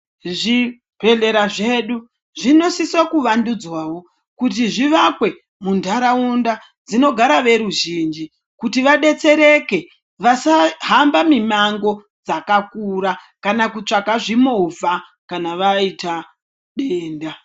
Zvibhedhlera zvedu zvinosise kuwandunzwawo kuti zviwakwe muntaraunda dzinogara veruzhinji kuti vadetsereke vasahamba mimango dzakakura kana kutsvaka zvimovha kana waita denda.